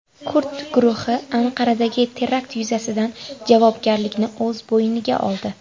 Kurd guruhi Anqaradagi terakt yuzasidan javobgarlikni o‘z bo‘yniga oldi.